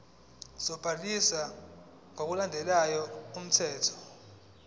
sobhaliso ngokulandela umthetho